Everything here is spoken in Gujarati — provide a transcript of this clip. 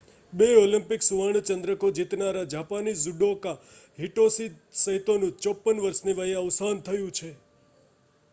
બે ઓલિમ્પિક સુવર્ણ ચંદ્રકો જીતનારા જાપાની જુડોકા હિટોશી સૈતોનું 54 વર્ષની વયે અવસાન થયું છે